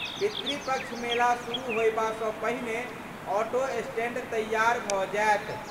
पितृपक्ष मेला शुरू होयबासँ पहिने ऑटो स्टैंड तैयार भऽ जायत।